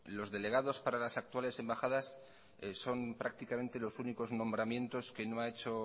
los delegados para las actuales embajadas son prácticamente los únicos nombramientos que no ha hecho